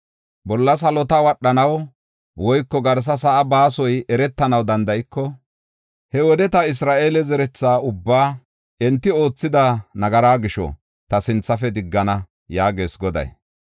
“Bolla salota wadhanaw woyko garsa sa7aa baasoy eretanaw danda7iko, he wode ta Isra7eele zeretha ubbaa, enti oothida nagaraa gisho ta sinthafe diggana” yaagees Goday.